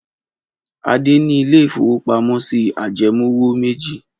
Adé ní ilé-ìfowópamọ́sí ajẹmówò méjì.